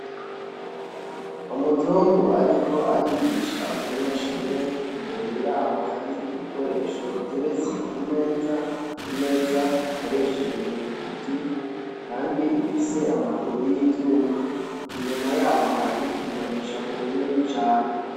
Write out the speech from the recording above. Umuzungu ariko arigisha umunyeshure, imbere yabo hari ibikoresho biteretse ku meza, imeza ikoreshejwe mu biti kandi ifise amaguru y'ivyuma. Inyuma yabo hari imboneshakure nini cane.